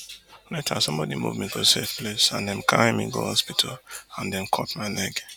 later sombodi move me to a safe place and dem carry me go hospital and dem cut my leg